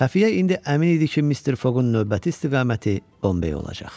Xəfiyə indi əmin idi ki, Mister Foqun növbəti istiqaməti Bombey olacaq.